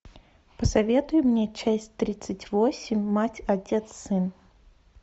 посоветуй мне часть тридцать восемь мать отец сын